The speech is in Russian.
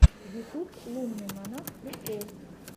ютуб лунный монах прикол